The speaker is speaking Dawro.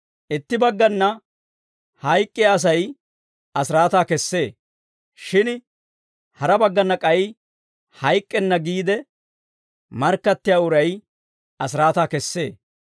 Itti baggana, hayk'k'iyaa Asay asiraataa kessee; shin hara baggana k'ay, hayk'k'enna giide markkattiyaa uray asiraataa kessee.